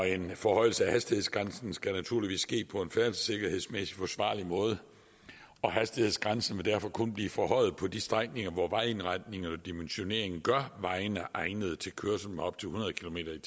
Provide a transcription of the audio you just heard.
en forhøjelse af hastighedsgrænsen skal naturligvis ske på en færdselssikkerhedsmæssig forsvarlig måde og hastighedsgrænsen vil derfor kun blive forhøjet på de strækninger hvor vejindretningen og dimensioneringen gør vejene egnede til kørsel på op til hundrede kilometer